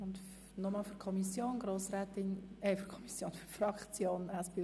Nun hat Grossrätin Gabi ebenfalls für die SPJUSO-PSA-Fraktion das Wort.